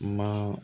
Ma